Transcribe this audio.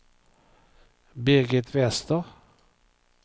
Birgit Wester